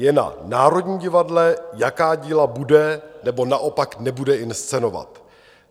Je na Národním divadle, jaká díla bude nebo naopak nebude inscenovat.